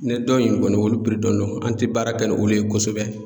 Ne dɔn in kɔni olu dɔnnen don an tɛ baara kɛ ni olu ye kosɛbɛ.